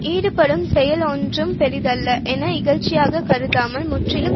ஈடுபடும் செயல் ஒன்றும் பெரிதல்ல என இகழ்ச்சியாகக் கருதாமல் முற்றிலும்